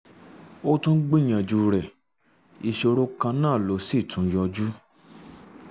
a tún gbìyànjú rẹ̀ ìṣòro kan náà ló sì tún yọjú